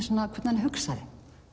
hann hugsaði